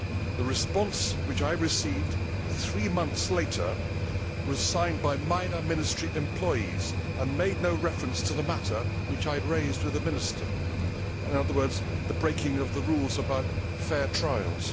The response which I received, three months later, was signed by minor Ministry employees and made no reference to the matter which I had raised with the Minister in other words, the breaking of the rules about fair trials.